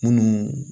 Munnu